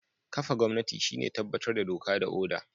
Kafa gwamnati shine tabbatar da doka da oda.